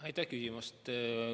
Aitäh küsimast!